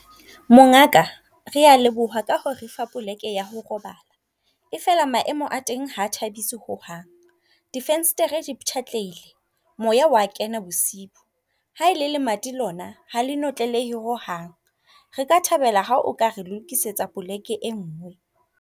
Mongaka rea leboha ka ho refa poleke ya ho robala. E fela maemo a teng ha thabiso ho hang. Difenstere di ptjhatlehile. Moya wa kena bosiu. Ha ele lemati lona hale notlelehe ho hang. Re ka thabela ha o ka re lokisetsa poleke e ngwe.